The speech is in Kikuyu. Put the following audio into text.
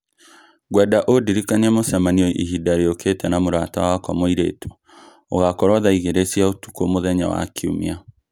Ngwenda ũndirikanie mũcemanio ihinda rĩũkĩte na mũrata wakwa muiretu ũgakorwo thaa igĩrĩ cia ũtukũ mũthenya wa Kiumia.